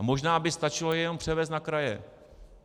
A možná by stačilo je jenom převést na kraje.